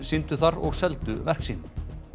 sýndu þar og seldu verk sín